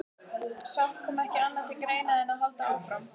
Samt kom ekki annað til greina en að halda áfram.